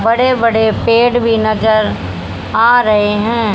बड़े बड़े पेड़ भी नजर आ रहे हैं।